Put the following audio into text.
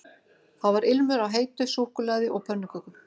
Það var ilmur af heitu súkkulaði og pönnukökum